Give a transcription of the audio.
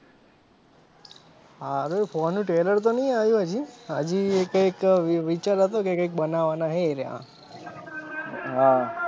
હારું four નું trailer તો ની આયુ હજી હજી કઈક વી વિચાર હતો કે કઈક બનાવાના હે એરયા હા